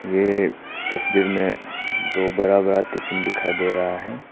ये तस्वीर में दो बड़ा बड़ा टिफिन दिखाई दे रहा है।